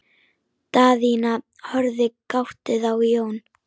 Daðína horfði gáttuð á Jón.